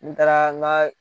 N taara n ka